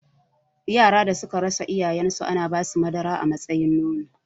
Yaran da suka rasa iyayen su ana basu madara a matsayin nono